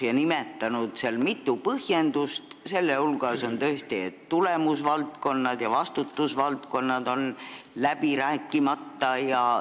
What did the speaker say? Ta on nimetanud mitu põhjendust, sh see, et tulemus- ja vastutusvaldkonnad on läbi rääkimata.